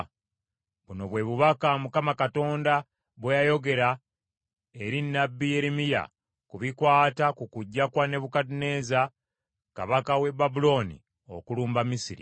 Buno bwe bubaka Mukama Katonda bwe yayogera eri nnabbi Yeremiya ku bikwata ku kujja kwa Nebukadduneeza kabaka w’e Babulooni okulumba Misiri: